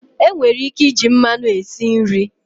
Enwere ike iji mmanụ esi nri.